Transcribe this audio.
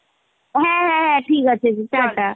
হ্যাঁ হ্যাঁ হ্যাঁ , ঠিকাছে tata